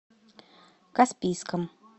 каспийском